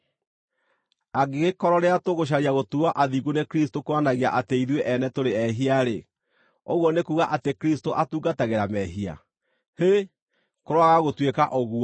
“Angĩgĩkorwo rĩrĩa tũgũcaria gũtuuo athingu nĩ Kristũ kuonanagia atĩ ithuĩ ene tũrĩ ehia-rĩ, ũguo nĩ kuuga atĩ Kristũ atungatagĩra mehia? Hĩ! Kũroaga gũtuĩka ũguo!